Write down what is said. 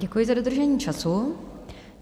Děkuji za dodržení času.